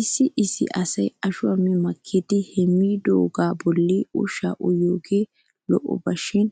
Issi issi asay ashuwaa mi makkidi he miidoogaa bollan ushaa uyiyoogee lo'oba shin